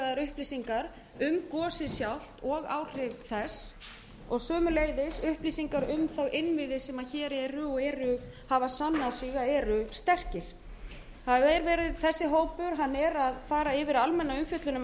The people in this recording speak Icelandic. og yfirvegaðar upplýsingar um gosið sjálft og áhrif þess og sömuleiðis upplýsingar um þá innviði sem hér eru og hafa sannað sig að eru sterkir þessi hópur er að fara yfir almenna umfjöllun